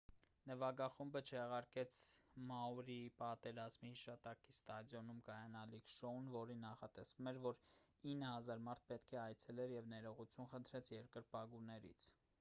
նվագախումբը չեղարկեց մաուրիի պատերազմի հիշատակի ստադիոնում կայանալիք շոուն որին նախատեսվում էր որ 9,000 մարդ պետք է այցելեր և ներողություն խնդրեց երկրպագուներից